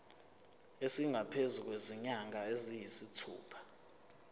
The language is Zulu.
esingaphezu kwezinyanga eziyisithupha